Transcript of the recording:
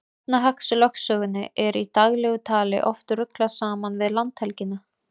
Efnahagslögsögunni er í daglegu tali oft ruglað saman við landhelgina.